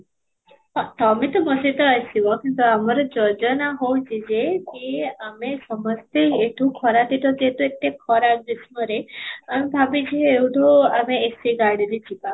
ହଁ, ତମେ ତ ମୋ ସହିତ ଆସିବ କିନ୍ତୁ ଆମର ଯୋଜନା ହଉଛି ଯେ କି ଆମେ ସମସ୍ତେ ଏଠୁ ଖରା ଦିନ ଯେହେତୁ ଏତେ ଖରା ଗ୍ରୀଷ୍ମରେ ଆମେ ଭାବୁଛେ ଏଉଠୁ ଆମେ AC ଗାଡିରେ ଯିବା